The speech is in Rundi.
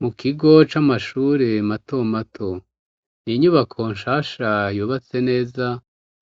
Mukigo c'amashure matomato n'inyubako nshasha yubatse neza,